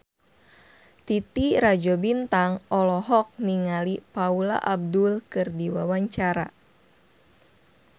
Titi Rajo Bintang olohok ningali Paula Abdul keur diwawancara